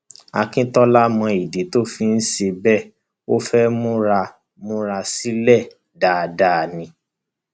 akíntola mọ ìdí tó ṣe ń ṣe bẹẹ ó fẹẹ múra múra sílẹ dáadáa ni